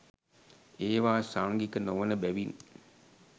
ඒවා සංඝික නොවන බැවින්